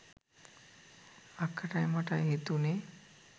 අක්කටයි මටයි හිතුනේ